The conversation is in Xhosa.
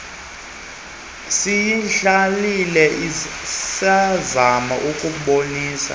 siyidlalile sazama ukubabonisa